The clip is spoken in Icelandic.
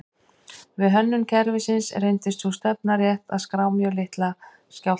Við hönnun kerfisins reyndist sú stefna rétt að skrá mjög litla skjálfta.